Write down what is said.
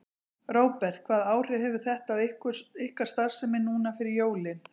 Róbert: Hvaða áhrif hefur þetta á ykkar starfsemi núna fyrir jólin?